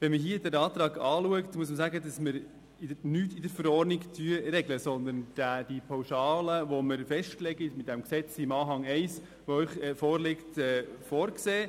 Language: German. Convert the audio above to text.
Betrachtet man den Antrag, muss man sagen, dass nichts in der Verordnung geregelt wird, sondern dass wir die Pauschale, die mit diesem Gesetz in Anhang 1 festgelegt wird, vorsehen: